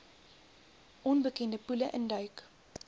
onbekende poele induik